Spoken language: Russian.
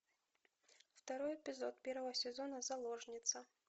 второй эпизод первого сезона заложница